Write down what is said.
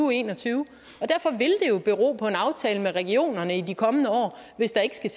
og en og tyve og bero på en aftale med regionerne i de kommende år hvis der ikke skal